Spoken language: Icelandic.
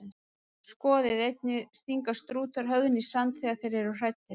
Skoðið einnig: Stinga strútar höfðinu í sand þegar þeir eru hræddir?